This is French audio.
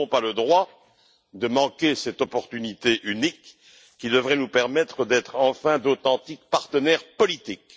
Nous n'avons pas le droit de manquer cette opportunité unique qui devrait nous permettre d'être enfin d'authentiques partenaires politiques.